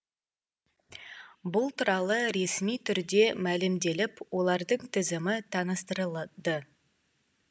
бұл туралы ресми түрде мәлімделіп олардың тізімі таныстырылды